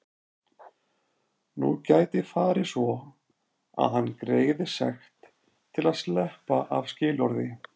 Nú gæti farið svo að hann greiði sekt til að sleppa af skilorði.